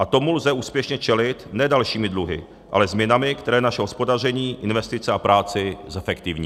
A tomu lze úspěšně čelit ne dalšími dluhy, ale změnami, které naše hospodaření, investice a práci zefektivní.